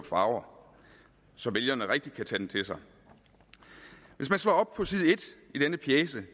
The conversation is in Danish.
farver så vælgerne rigtig kan tage den til sig hvis man slår op på side en i denne pjece